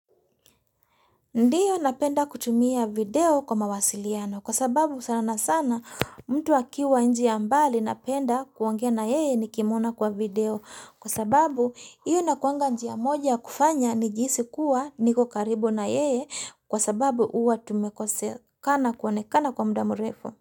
Ndiyo napenda kutumia video kwa mawasiliano kwa sababu sana na sana mtu akiwa nchi ya mbali napenda kuongea na yeye nikimwona kwa video kwa sababu hiyo inakuanga njia moja ya kufanya ni jihisi kuwa niko karibu na yeye kwa sababu huwa tumekosekana kuonekana kwa mudamu mrefu.